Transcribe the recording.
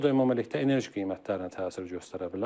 Bu da ümumilikdə enerji qiymətlərinə təsir göstərə bilər.